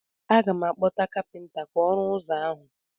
Aga m akpọta kapịnta ka ọ rụọ ụzọ ahụ.